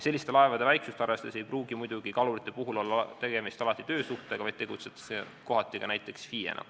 Selliste laevade väiksust arvestades ei pruugi muidugi kaluritel olla alati tegemist töösuhtega, vaid kohati tegutsetakse ka näiteks FIE-na.